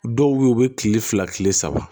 Dɔw be ye u be kile fila kile saba